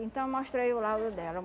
Então, mostra aí o laudo dela.